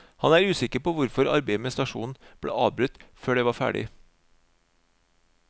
Han er usikker på hvorfor arbeidet med stasjonen ble avbrutt før det var ferdig.